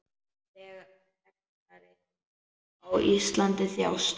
Þegnar yðar á Íslandi þjást.